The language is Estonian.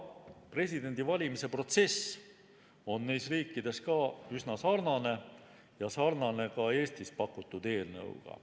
Presidendivalimise protsess on neis riikides üsna sarnane ja sarnane ka Eestis pakutud eelnõuga.